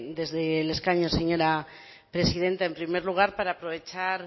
desde el escaño señora presidenta en primer lugar para aprovechar